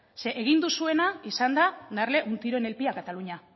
egin duzuena ha sido darle un tiro en el pie a cataluña